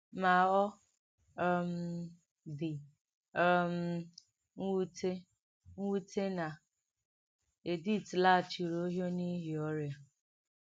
Mà ọ um dì̀ um m̀wùtè m̀wùtè nà Èdìth làghàchìrì Òhìò n’ìhí ọ́rìà.